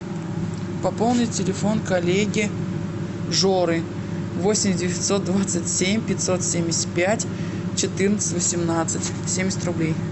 пополнить телефон коллеги жоры восемь девятьсот двадцать семь пятьсот семьдесят пять четырнадцать восемнадцать семьдесят рублей